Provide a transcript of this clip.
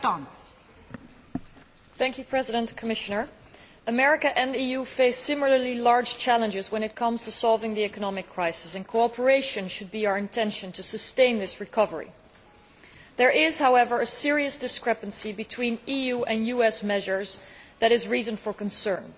Madam President, America and the EU face similarly large challenges when it comes to resolving the economic crisis, and cooperation should be our intention in order to sustain this recovery. There is, however, a serious discrepancy between EU and US measures that is a reason for concern.